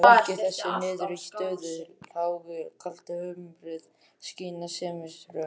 Að baki þessari niðurstöðu lágu kaldhömruð skynsemisrök.